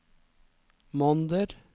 måneder